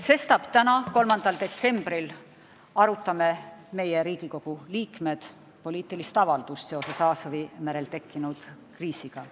Sestap arutame täna, 3. detsembril meie, Riigikogu liikmed, poliitilist avaldust seoses Aasovi merel tekkinud kriisiga.